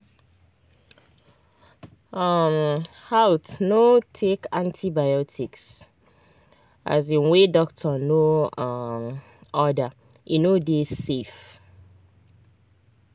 um haltno take antibiotics um wey doctor no um order e no dey safe